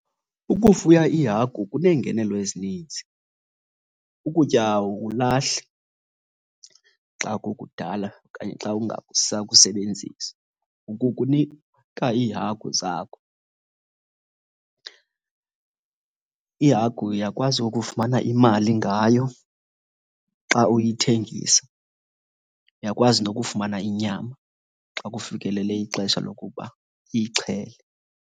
Ukufuya iihagu kuneengenelo ezininzi. Ukutya awukulahli xa kukudala okanye xa ungasakusebenzisi, ukukunika iihagu zakho. Ihagu uyakwazi ukufumana imali ngayo xa uyithengisa, uyakwazi nokufumana inyama xa kufikelele ixesha lokuba uyixhele.